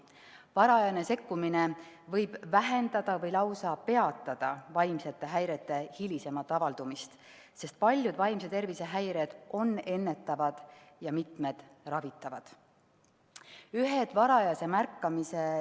Varajane sekkumine võib vähendada või lausa peatada vaimsete häirete hilisemat avaldumist, sest paljud vaimse tervise häired on ennetatavad ja mitmed on ravitavad.